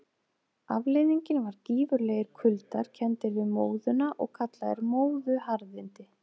Afleiðingin var gífurlegir kuldar, kenndir við móðuna og kallaðir móðuharðindi.